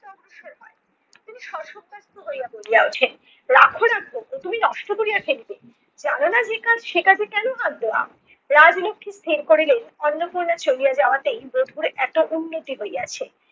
হইয়া বলিয়া উঠেন। রাখো, রাখো ও তুমি নষ্ট করিয়া ফেলিবে। জানো না যে কাজ সে কাজে কেনো হাত দেওয়া? রাজলক্ষী স্থির করিলেন অন্নপূর্ণা চলিয়া যাওয়াতেই বধূর এতো উন্নতি হইয়াছে।